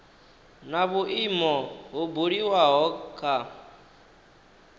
na vhuimo ho buliwaho kha